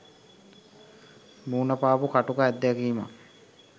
මුණ පාපු කටුක අත්දැකීමක්